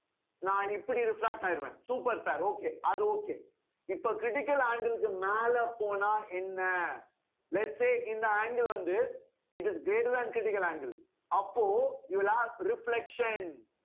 நான் இப்படி reflect ஆயிடுவேன் super sir okay அது okay இப்ப critical angle க்கு மேல போனா என்ன lets say இந்த angle வந்து it is greater than critical angle அப்போ you will have reflection